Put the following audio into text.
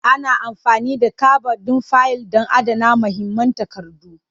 Ana amfani da kabad ɗin fayil don adana muhimman takardu.